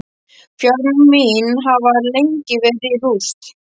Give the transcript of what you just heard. Fjármál mín hafa lengi verið í rúst.